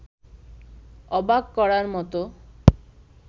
অবাক করার মতো